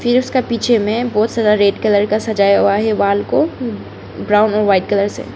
जिसका पीछे में बहुत सारा रेड कलर का सजाया हुआ है वाल को ब्राउन और व्हाइट कलर से।